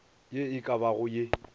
ye e ka bago ye